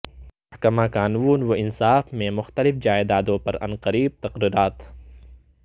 محکمہ قانون و انصاف میں مختلف جائیدادوں پر عنقریب تقررات